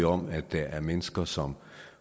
om at der er mennesker som